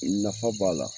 Nafa b'a la